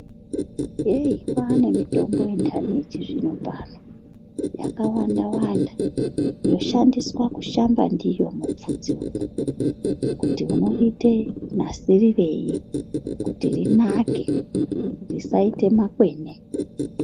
Kwanemitombo yendanhi yechizvinopano yakawandawanda, yoshandiswa kushamba ndiyo mubvudzi umwu kuti unoriite nasirirei kuti rinake risaite makwene.